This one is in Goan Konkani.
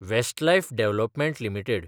Westlife development limited